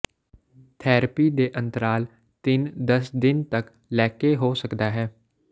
therapy ਦੇ ਅੰਤਰਾਲ ਤਿੰਨ ਦਸ ਦਿਨ ਤੱਕ ਲੈਕੇ ਹੋ ਸਕਦਾ ਹੈ